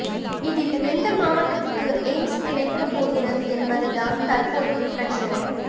இதில் எந்த மாவட்டத்துக்கு எய்ம்ஸ் கிடைக்கப்போகிறது என்பதுதான் தற்போது பிரச் சினை